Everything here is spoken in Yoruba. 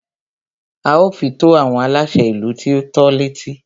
A ó fi tó àwọn aláṣẹ ìlú tí o tọ́ l'étí.